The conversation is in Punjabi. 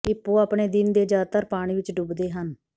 ਹਿੱਪੋ ਆਪਣੇ ਦਿਨ ਦੇ ਜ਼ਿਆਦਾਤਰ ਪਾਣੀ ਵਿੱਚ ਡੁੱਬਦੇ ਹਨ